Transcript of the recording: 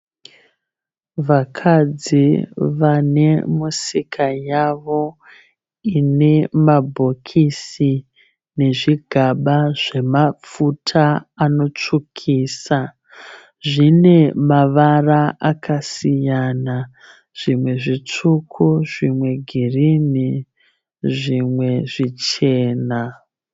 Vakadzi vane misika yavo ine mabhokisi nezvigaba zvemafuta anotsvukisa. Zvine mavara akasiyana. Zvimwe zvitsvuku zvimwe girinhi zvimwe zvichena.